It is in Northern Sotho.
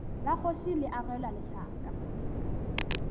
la kgoši le agelwa lešaka